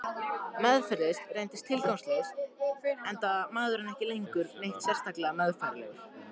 Meðferð reyndist tilgangslaus, enda maðurinn ekki lengur neitt sérlega meðfærilegur.